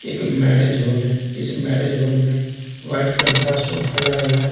एक marriage hall है इस मैरेज हॉल में वाइट कलर का सोफा लगा हुआ है।